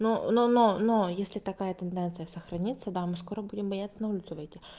но но но но если такая тенденция сохранится да мы скоро будем бояться на улицу выйти